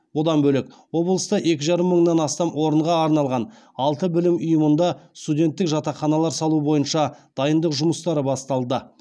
бұдан бөлек облыста екі жарым мыңнан астам орынға арналған алты білім ұйымында студенттік жатақханалар салу бойынша дайындық жұмыстары басталды